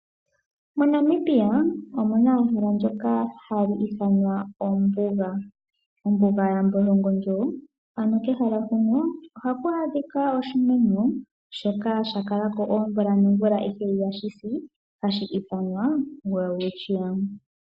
MoNamibia omuna ehala ndyoka hali ithanwa ombuga, ombuga yambolongondjo. Ano kehala huno ohaku adhika oshimeno shoka sha kala ko oomvula noomvula ihe ihashi si, hashi ithanwa Welwitchia.